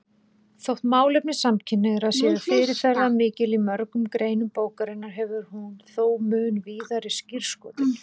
Þótt málefni samkynhneigðra séu fyrirferðarmikil í mörgum greinum bókarinnar hefur hún þó mun víðari skírskotun.